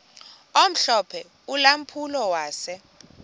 omhlophe ulampulo wase